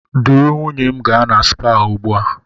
Duru nwunye m gaa na spaa ugbu a!